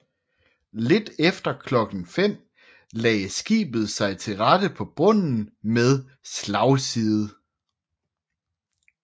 Lidt efter klokken 5 lagde skibet sig til rette på bunden med slagside